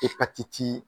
Epatiti